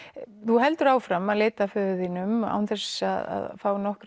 þú heldur áfram að leita að föður þínum án þess að fá nokkrar